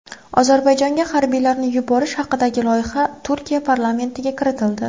Ozarbayjonga harbiylarni yuborish haqidagi loyiha Turkiya parlamentiga kiritildi.